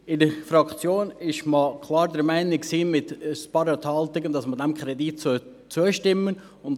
In der Fraktion war man, bei ein paar Enthaltungen, klar der Meinung, dass man diesem Kredit zustimmen sollte.